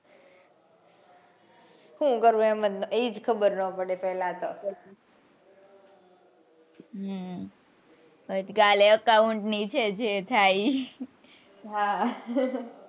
સુ કરવું એજ ખબર નો પડે પેલા તો હમ પછી કાલે account ની જે થાય એ ઈ હા